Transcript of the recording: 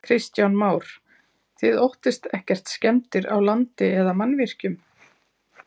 Kristján Már: Þið óttist ekkert skemmdir á landi eða mannvirkjum?